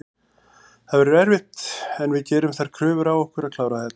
Það verður erfitt en við gerum þær kröfur á okkur að klára þetta.